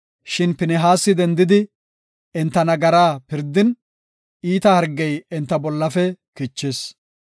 Shin Pinihaasi dendidi, enta nagaraa pirdin, iita hargey enta bollafe kichis.